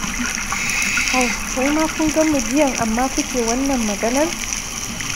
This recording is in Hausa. Au wai ma kun gan mu jiyan amma kuke wannan maganar?